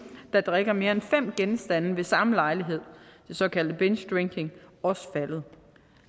der drikker mere end fem genstande ved samme lejlighed den såkaldte bingedrinking også faldet